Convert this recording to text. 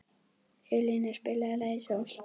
Elina, spilaðu lagið „Sól“.